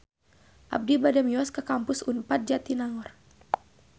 Abi bade mios ka Kampus Unpad Jatinangor